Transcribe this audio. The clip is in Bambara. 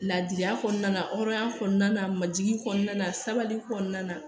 Ladiriya kɔnɔna na hɔrɔnya kɔnɔna na majigin kɔnɔna na sabali kɔnɔna na